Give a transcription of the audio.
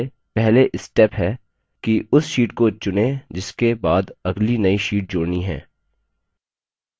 सभी तरीकों के लिए पहले step है कि उस sheet को चुनें जिसके बाद अगली नई sheet जोड़नी है